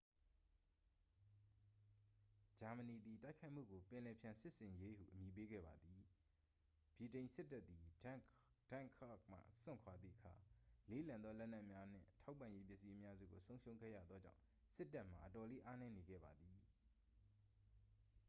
"ဂျာမနီသည် တိုက်ခိုက်မှုကို "ပင်လယ်ဖျံစစ်ဆင်ရေး" ဟု အမည်ပေးခဲ့ပါသည်။ ဗြိတိန်စစ်တပ်သည် dunkirk မှစွန့်ခွာသည့်အခါ လေးလံသောလက်နက်များနှင့် ထောက်ပံ့ရေးပစ္စည်းအများစုကို ဆုံးရှုံးခဲ့ရသောကြောင့် စစ်တပ်မှာ အတော်လေးအားနည်းနေခဲ့ပါသည်။